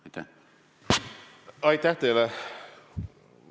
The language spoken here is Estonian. Aitäh teile!